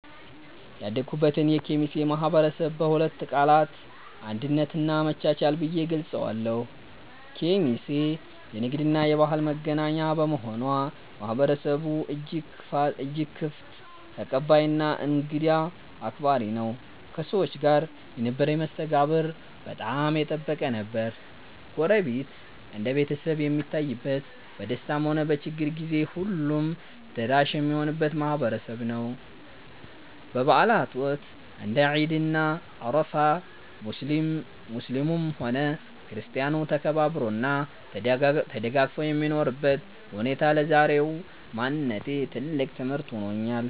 ያደኩበትን የኬሚሴ ማህበረሰብ በሁለት ቃላት "አንድነት" እና "መቻቻል" ብዬ እገልጸዋለሁ። ኬሚሴ የንግድና የባህል መገናኛ በመሆኗ፣ ማህበረሰቡ እጅግ ክፍት፣ ተቀባይና እንግዳ አክባሪ ነው። ከሰዎች ጋር የነበረኝ መስተጋብር በጣም የጠበቀ ነበር። ጎረቤት እንደ ቤተሰብ የሚታይበት፣ በደስታም ሆነ በችግር ጊዜ ሁሉም ደራሽ የሚሆንበት ማህበረሰብ ነው። በበዓላት ወቅት (እንደ ዒድ እና አረፋ) ሙስሊሙም ሆነ ክርስቲያኑ ተከባብሮና ተደጋግፎ የሚኖርበት ሁኔታ ለዛሬው ማንነቴ ትልቅ ትምህርት ሆኖኛል።